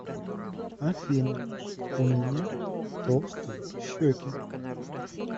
афина у меня толстые щеки